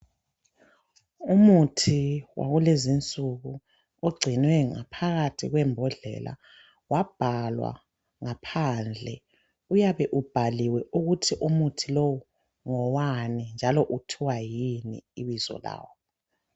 Umuthi wakulezinsuku ogcinwe ngaphakathi kwembhodlela, wabhalwa ngaphandle. Uyabe ubhaliwe ukuthi umuthi lowu ngowani njali uthiwa yini ibizo lawo.